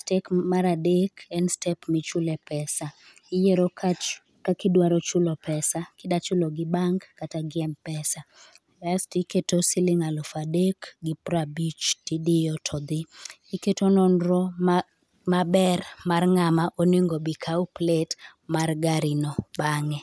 Step mar adek en step michule pesa. Iyiero kach kaka idwaro chulo pesa kidwa chulo gi bank, kata gi m-pesa kasto iketo siling alufu adek gi piero abich, idiyo to dhi. Iketo nonro maber mar ng'at ma onego obi okaw plate garino bang'e.